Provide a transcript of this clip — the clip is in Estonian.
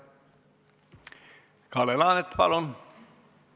Kalle Laanet, palun!